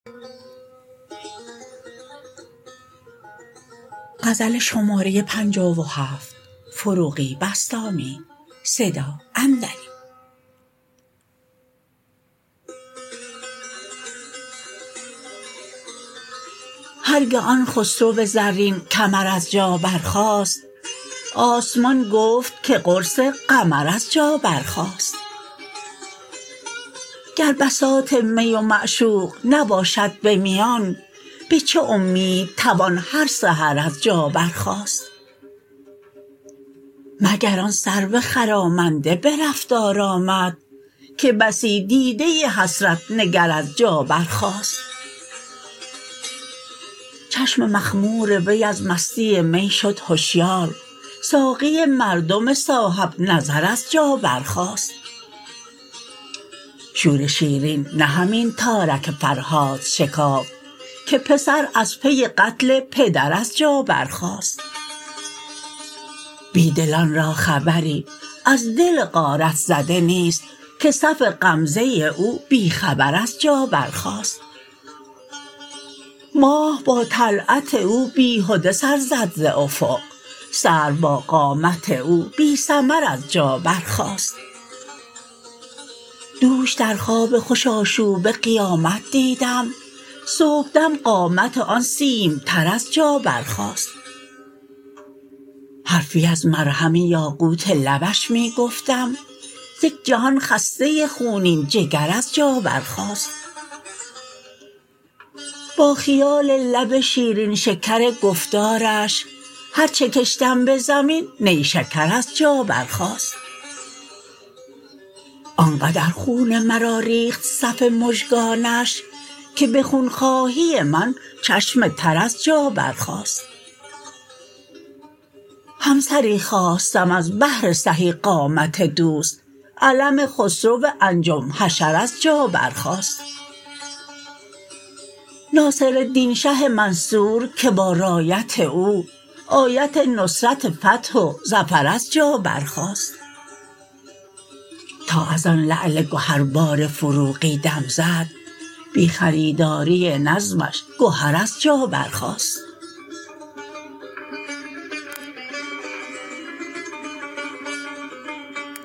هر گه آن خسرو زرین کمر از جا برخاست آسمان گفت که قرص قمر از جا بر خاست گر بساط می و معشوق نباشد به میان به چه امید توان هر سحر از جا بر خاست مگر آن سرو خرامنده به رفتار آمد که بسی دیده حسرت نگر از جا برخاست چشم مخمور وی از مستی می شد هشیار ساقی مردم صاحب نظر از جا بر خاست شور شیرین نه همین تارک فرهاد شکافت که پسر از پی قتل پدراز جا بر خاست بی دلان را خبری از دل غارت زده نیست که صف غمزه او بی خبر از جا برخاست ماه با طلعت او بیهده سر زد ز افق سرو با قامت او بی ثمر از جا بر خاست دوش در خواب خوش آشوب قیامت دیدم صبح دم قامت آن سیم تن از جا بر خاست حرفی از مرهم یاقوت لبش می گفتم یک جهان خسته خونین جگر از جا بر خاست با خیال لب شیرین شکر گفتارش هر چه کشتم به زمین نیشکر از جا بر خاست آن قدر خون مرا ریخت صف مژگانش که به خون خواهی من چشم تر از جا بر خاست همسری خواستم از بهر سهی قامت دوست علم خسرو انجم حشر از جا بر خاست ناصرالدین شه منصور که با رایت او آیت نصرت فتح و ظفر از جا بر خاست تا از آن لعل گهر بار فروغی دم زد بی خریداری نظمش گهر از جا بر خاست